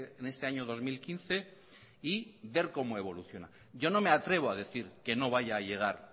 en este año dos mil quince y ver cómo evoluciona yo no me atrevo a decir que no vaya a llegar